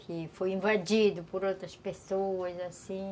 Que foi invadido por outras pessoas, assim.